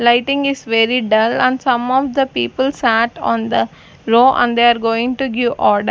lighting is very dull and some of the people sat on the row and they are going to give order.